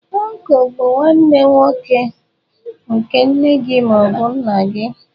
Ọncụl bụ nwanne nwoke nke nne gị ma ọ bụ nna gị.